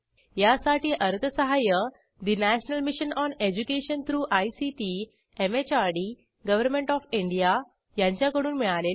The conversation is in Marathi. यासाठी अर्थसहाय्य national mission on education through ICT MHRD government O F India यांच्याकडून मिळालेले आहे